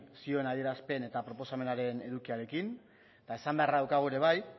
zioen adierazpen eta proposamenaren edukiarekin eta esan beharra daukagu ere bai